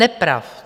Nepravd.